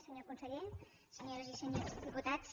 senyor conseller senyores i senyors diputats